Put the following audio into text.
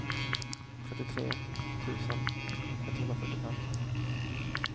trettiotre tusen etthundrafyrtiofem